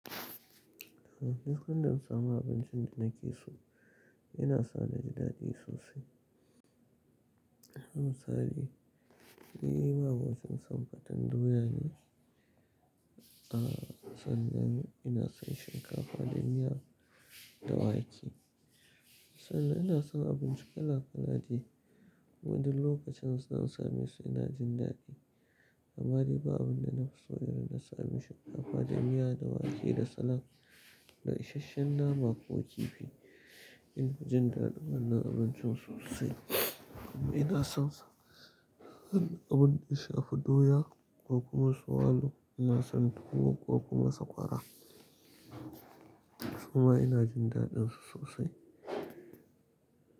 Eh, duk san da na samu abincin da nake so yana sa ni daɗi sosai. Misali, ni ma'amacin son fatan doya ne. A sannan ina son shinkafa, da miya da wake. Sannan ina son abinci kala kala dai. Wadannan lokacin sai insame su ina jin daɗi. Amma dai ba abun da na fi so yanzu na sa ni shinkafa, danniya da wake da salad da isashen nama ko kifi. Ina jin daɗin wannan abincin sosai. Amma ina son abun da ya shafi doya ko kuma swallow. Ina son tuwo ko kuma sakwara. Kuma ina jin daɗin su sosai.